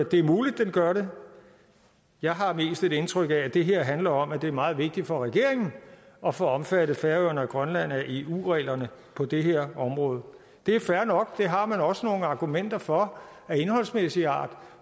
det er muligt at det gør det jeg har mest et indtryk af at det her handler om at det er meget vigtigt for regeringen at få omfattet færøerne og grønland af eu reglerne på det her område det er fair nok og det har man også nogle argumenter for af indholdsmæssigt art